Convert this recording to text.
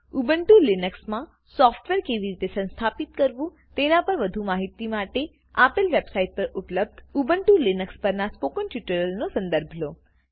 Ubuntu લિનક્સમાં software કેવી રીતે સંસ્થાપિત કરવું તેના પર વધુ માહિતી માટે આપલે વેબસાઈટ પર ઉપલબ્ધ ઉબ્નટુ લીનક્સ પરના સ્પોકન ટ્યુટોરીયલ નો સંદર્ભ લો